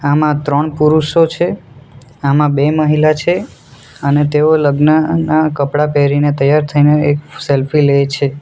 આમાં ત્રણ પુરુષો છે આમાં બે મહિલા છે અને તેઓ લગ્નના કપડાં પહેરીને તૈયાર થઈને એક સેલ્ફી લે છે.